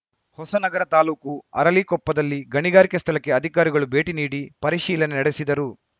ಹೊಸನಗರ ತಾಲೂಕು ಅರಳಿಕೊಪ್ಪದಲ್ಲಿ ಗಣಿಗಾರಿಕೆ ಸ್ಥಳಕ್ಕೆ ಅಧಿಕಾರಿಗಳು ಭೇಟಿ ನೀಡಿ ಪರಿಶೀಲನೆ ನಡೆಸಿದರು